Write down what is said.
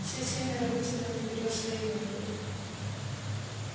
все семеро вытянули вперёд свои мётлы